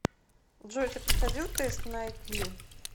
джой ты проходил тест на ай кью